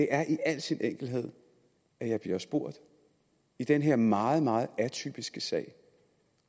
er i al sin enkelhed at jeg bliver spurgt i den her meget meget atypiske sag